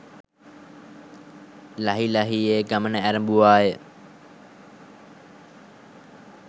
ලහි ලහියේ ගමන ඇරඹුවාය.